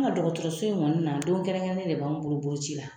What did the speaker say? An ka dɔgɔtɔrɔso in Kɔni na don kɛrɛnkɛrɛnnen de b'an bolo boloci la.